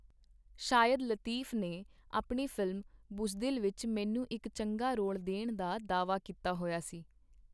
ਸ਼ਾਹਿਦ ਲਤੀਫ ਨੇ ਆਪਣੀ ਫ਼ਿਲਮ, ਬੁਜ਼ਦਿਲ ਵਿਚ ਮੈਨੂੰ ਇਕ ਚੰਗਾ ਰੋਲ ਦੇਣ ਦਾ ਦਾਅਵਾ ਕੀਤਾ ਹੋਇਆ ਸੀ.